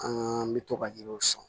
An bɛ to ka yiriw sɔn